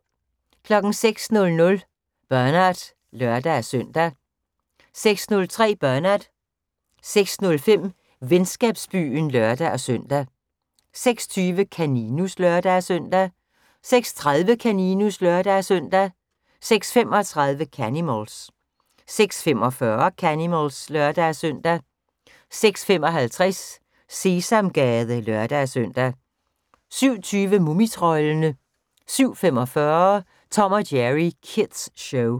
06:00: Bernard (lør-søn) 06:03: Bernard 06:05: Venskabsbyen (lør-søn) 06:20: Kaninus (lør-søn) 06:30: Kaninus (lør-søn) 06:35: Canimals 06:45: Canimals (lør-søn) 06:55: Sesamgade (lør-søn) 07:20: Mumitroldene 07:45: Tom & Jerry Kids Show